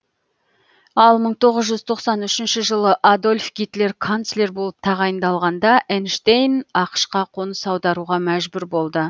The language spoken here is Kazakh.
ал мың тоғыз жүз тоқсан үшінші жылы адольф гитлер канцлер болып тағайындалғанда эйнштейн ақш қа қоныс аударуға мәжбүр болды